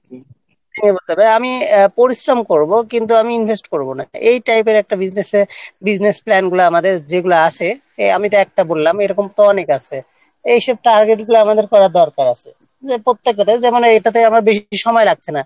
হ্যাঁ আমি পরিশ্রম করব কিন্তু আমি invest করব না এই type-র একটা business plan-গুলো যেগুলো আমাদের আসে আমি একটা বললাম এরকম অনেক আছে এসবগুলো target করার আমাদের দরকার আছে এরপর থেকে এটার উপর আমার বেশি সময় লাগছে না